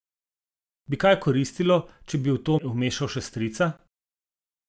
Bi kaj koristilo, če bi v to vmešal še strica?